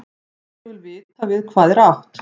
Ég vil vita við hvað er átt.